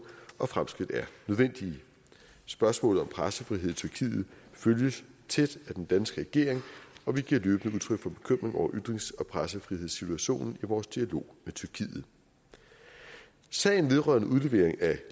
og at fremskridt er nødvendige spørgsmålet om pressefrihed i tyrkiet følges tæt af den danske regering og vi giver løbende udtryk for bekymring over ytrings og pressefrihedssituationen i vores dialog med tyrkiet sagen vedrørende udlevering af